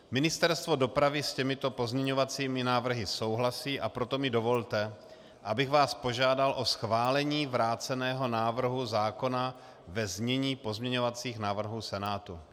Ministerstvo dopravy s těmito pozměňovacími návrhy souhlasí, a proto mi dovolte, abych vás požádal o schválení vráceného návrhu zákona ve znění pozměňovacích návrhů Senátu.